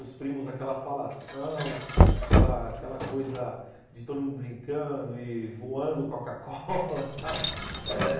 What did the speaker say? Os primos, aquela falação, aquela aquela coisa de todo mundo brincando e voando Coca-Cola, sabe?